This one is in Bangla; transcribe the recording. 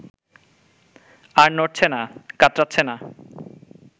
আর নড়ছে না, কাতরাচ্ছে না